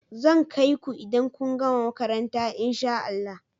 Zan kai ku idan kun gama makaranta in sha Allah.